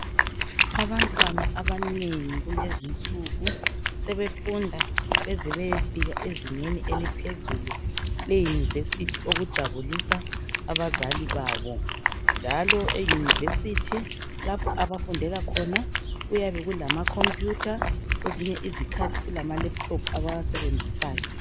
Abantwana abanengi kulezinsuku sebefunda beze beyefika ezingeni eliphezulu eyunivesithi. Okujabulisa abazali babo ,njalo eyunivesithi lapho abafundela khona kuyabekulama khompuyutha . Kwezinye izikhathi kulama lephuthophu abawasebenzisayo.